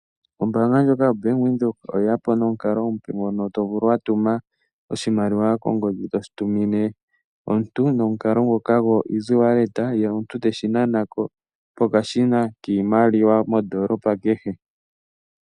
Ombaanga ndjoka yobank Windhoek oye yapo nomukalo omupe gwokutumina omuntu oshimaliwa gwo easy wallet kongodji. Omuntu ota vulu okunana ko oshimaliwa shoka pokashina kehe kombaanga ndjika mondoolopa kehe.